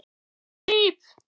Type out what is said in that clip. Ég gríp.